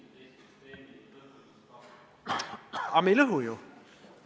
Aga me ei lõhu ju!